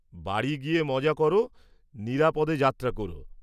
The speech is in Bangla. বাড়ি গিয়ে মজা করো, নিরাপদে যাত্রা করো।